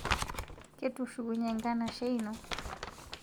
Ketushukunye nkanashe ino?